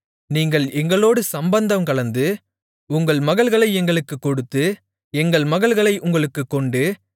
நீங்கள் எங்களோடு சம்பந்தங்கலந்து உங்கள் மகள்களை எங்களுக்குக் கொடுத்து எங்கள் மகள்களை உங்களுக்குக் கொண்டு